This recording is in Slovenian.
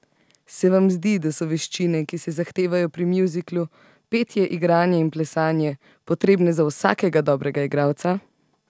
Se vam zdi, da so veščine, ki se zahtevajo pri muzikalu, petje, igranje in plesanje, potrebne za vsakega dobrega igralca?